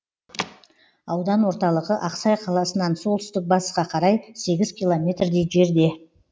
аудан орталығы ақсай қаласынан солтүстік батысқа қарай сегіз километрдей жерде